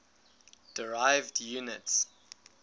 derived units